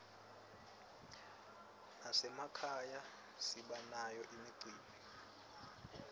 nasemakhaya sibanayo imicimbi